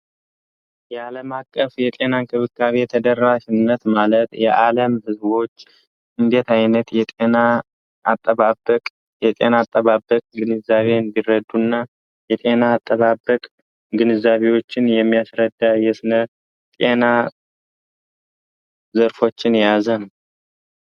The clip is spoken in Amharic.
የዓለም አቀፍ የጤና ንክብካቤ የተደራሽነት ማለት የዓለም ሕዝቦች እንዴት ዓይነት የጤና አጠባበቅ የጤና አጠባበቅ ግንዛቤ እንዲረዱ እና የጤና አጠባበቅ ግንዛቢዎችን የሚያስረዳ የስነር ጤና ዘርፎችን የያዘ ነው።